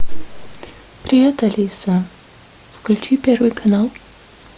привет алиса включи первый канал